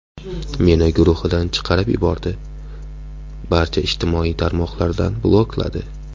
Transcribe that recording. Meni guruhidan chiqarib yubordi, barcha ijtimoiy tarmoqlardan blokladi.